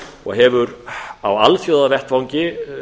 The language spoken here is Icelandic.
og hefur á alþjóðavettvangi